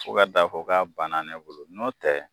Fo k'a taa fɔ k'a banna ne bolo n'o tɛ